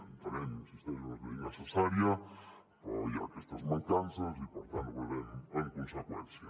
entenem hi insisteixo que és una llei necessària però hi ha aquestes mancances i per tant votarem en conseqüència